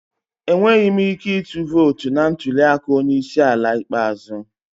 Enweghị m ike ịtụ vootu na ntuli aka onye isi ala ikpeazụ.